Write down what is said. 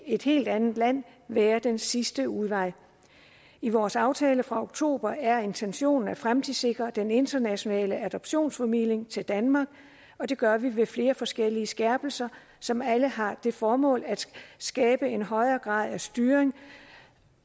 et helt anden land være den sidste udvej i vores aftale fra oktober er intentionen at fremtidssikre den internationale adoptionsformidling til danmark og det gør vi ved flere forskellige skærpelser som alle har det formål at skabe en højere grad af styring